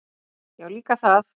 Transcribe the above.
Já, líka það.